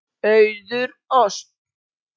Auður Ösp.